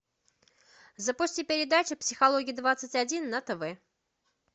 запусти передачу психология двадцать один на тв